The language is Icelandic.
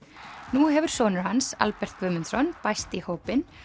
nú hefur sonur hans Albert Guðmundsson bæst í hópinn